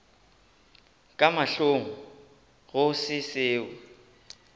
ka mahlong go se seo